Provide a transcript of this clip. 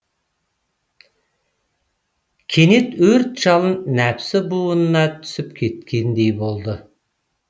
кенет өрт жалын нәпсі буынына түсіп кеткендей болды